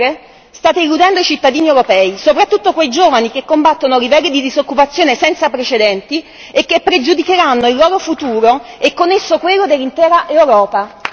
Insomma, ancora una volta con le chiacchiere state illudendo i cittadini europei, soprattutto quei giovani che combattono livelli di disoccupazione senza precedenti e che pregiudicheranno il loro futuro e con esso quello dell'intera Europa.